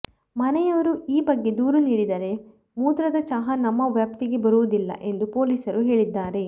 ಮನೆಯವರು ಈ ಬಗ್ಗೆ ದೂರು ನೀಡಿದರೆ ಮೂತ್ರದ ಚಹಾ ನಮ್ಮ ವ್ಯಾಪ್ತಿಗೆ ಬರುವುದಿಲ್ಲ ಎಂದು ಪೊಲೀಸರು ಹೇಳಿದ್ದಾರೆ